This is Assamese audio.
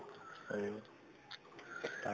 হয়, তাৰ